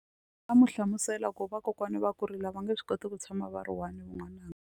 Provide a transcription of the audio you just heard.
Nga mu hlamusela ku ri vakokwana va kurile a va nge swi koti ku tshama va ri one n'wananga.